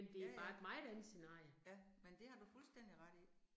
Ja ja, ja, men det har du fuldstændig ret i